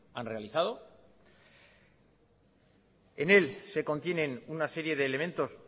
han realizado en él se contienen una serie de elementos